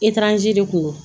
Etaranze de kun don